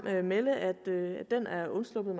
melde at det er undsluppet